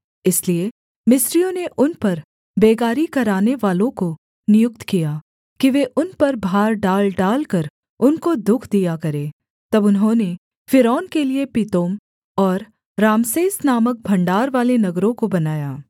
इसलिए मिस्रियों ने उन पर बेगारी करानेवालों को नियुक्त किया कि वे उन पर भार डालडालकर उनको दुःख दिया करें तब उन्होंने फ़िरौन के लिये पितोम और रामसेस नामक भण्डारवाले नगरों को बनाया